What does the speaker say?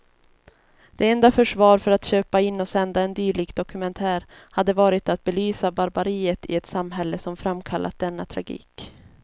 Det enda försvar för att köpa in och sända en dylik dokumentär hade varit att belysa barbariet i ett samhälle som framkallat denna tragik.